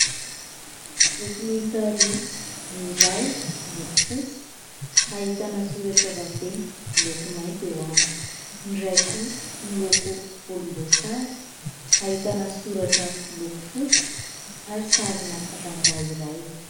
Boky miisa roa, ny iray miloko fotsy ahitana soratra vaventy miloko mainty eo aminy, ny iray kosa miloko volom-boasary ahitana soratra miloko fotsy ary sarina rangahy iray.